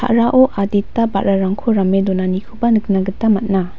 a·rao adita ba·rarangko rame donanikoba nikna gita man·a.